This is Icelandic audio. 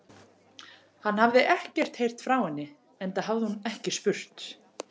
Hann hafði ekkert heyrt frá henni, enda hafði hann ekki spurt.